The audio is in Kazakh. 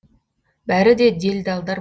бәрі де делдалдар